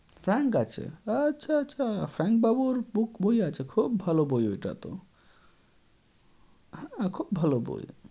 Frank আছে, আচ্ছা আচ্ছা! Frank বাবুর book বই আছে। খুব ভালো বই ওইটা তো, হ্যাঁ, খুব ভালো বই।